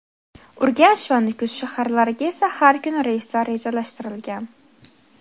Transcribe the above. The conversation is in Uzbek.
Urganch va Nukus shaharlariga esa har kuni reyslar rejalashtirilgan.